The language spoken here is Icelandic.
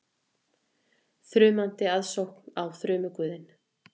Þrumandi aðsókn á þrumuguðinn